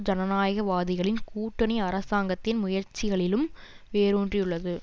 ஜனநாயகவாதிகளின் கூட்டணி அரசாங்கத்தின் முயற்சிகளிலும் வேரூன்றியுள்ளது